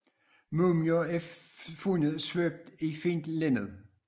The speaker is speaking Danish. Mumier er fundet svøbt i fint linned